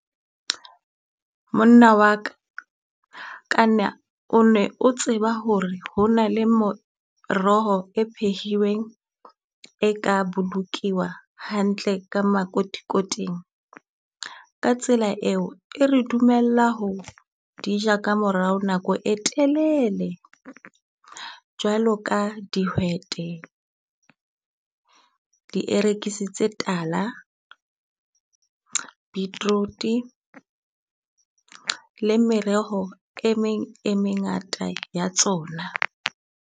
Monna wa ka kana o ne o tseba ho re ho na le moroho e phehilweng e ka bolokiwa hantle ka makotikoting. Ka tsela eo, e re dumella ho ja ka morao nako e telele. Jwalo ka dihwete, dierekisi tala, beetroot le mereho e meng e mengata ya tsona.